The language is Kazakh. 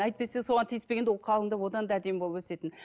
әйтпесе соған тиіспегенде ол қалыңдығы одан да әдемі болып өсетін